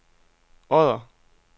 Odder